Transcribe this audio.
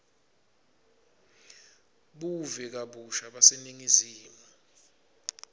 buve kabusha baseningizimu